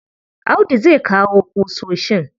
Audu zai kawo ƙusoshin.